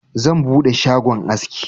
Zan buɗe shagon aski.